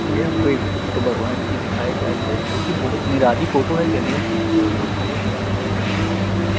यह हमको एक फोटो भगवान कि दिखाई जा रही है जोकि बहोत निराली फोटो है गणेश जी कि और लोग बहोत ज्यादा तरह के लोग खड़े हुए है।